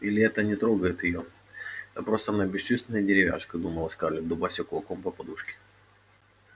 или это не трогает её да просто она бесчувственная деревяшка думала скарлетт дубася кулаком по подушке